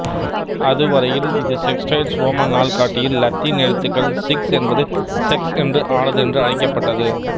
அதுவரையில் இது Sextilis Roman நாள்காட்டியில் இலத்தீன் எழுத்துகள் சிக்ஸ் என்பது செக்ஸ் என்று ஆனது என்று அழைக்கப்பட்டது